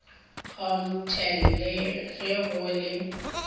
html le ge go le